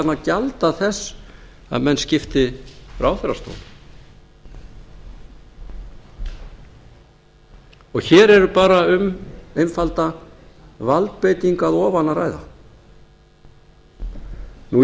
að gjalda þess að menn skipti ráðherrastólum hér er bara um einfalda valdbeitingu að ofan að ræða og í